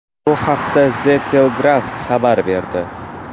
Bu haqda The Telegraph xabar berdi .